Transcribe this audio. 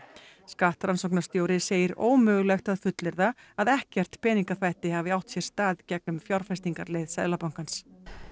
skattrannsóknarstjóri segir ómögulegt að fullyrða að ekkert peningaþvætti hafi átt sér stað gegnum fjárfestingarleið Seðlabankans